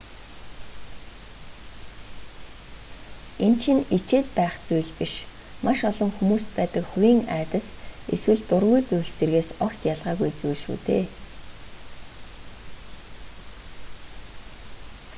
энэ чинь ичээд байх зүйл биш маш олон хүмүүст байдаг хувийн айдас эсвэл дургүй зүйлс зэргээс огт ялгаагүй зүйл шүү дээ